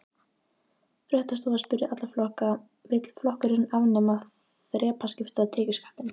Fréttastofa spurði alla flokka: Vill flokkurinn afnema þrepaskipta tekjuskattinn?